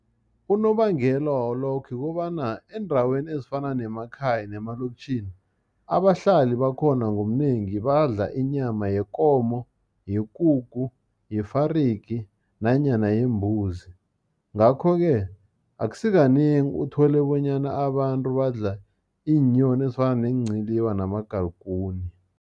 Unobangela walokho, ukobana eendaweni ezifana nemakhaya nemalokitjhini, abahlali bakhona ngobunengi badla inyama yekomo, yekukhu, yefarigi nanyana yembuzi. Ngakho-ke, akusikanengi uthole bonyana abantu badla iinyoni, ezifana neenciliba namagalikuni.